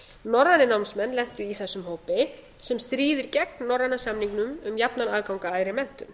norrænir námsmenn lentu í þessum hópi sem stríðir gegn norræna samningnum um jafnan aðgang að æðri menntun